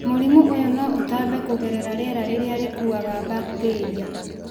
Mũrimũ ũyũ no ũtambe kũgerera rĩera rĩrĩa rĩkuaga bakitĩria.